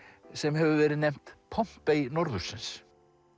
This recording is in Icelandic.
sem hefur verið nefnt norðursins